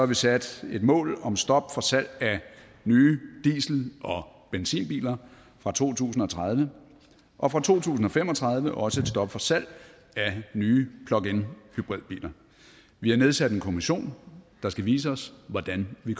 vi sat et mål om stop for salg af nye diesel og benzinbiler fra to tusind og tredive og fra to tusind og fem og tredive også et stop for salg af nye plug in hybridbiler vi har nedsat en kommission der skal vise os hvordan vi